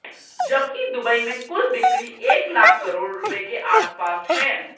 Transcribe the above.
जबकि दुबई में कुल बिक्री एक लाख करोड़ रुपये के आसपास है